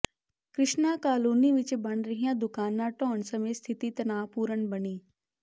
Krishna colony ਵਿਚ ਬਣ ਰਹੀਆਂ ਦੁਕਾਨਾਂ ਢਾਹੁਣ ਸਮੇਂ ਸਥਿਤੀ ਤਨਾਅਪੂਰਨ ਬਣੀ